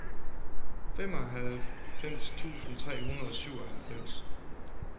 femoghalvfems tusind tre hundrede og syvoghalvfems